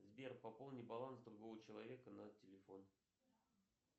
сбер пополни баланс другого человека на телефон